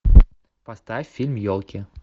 поставь фильм елки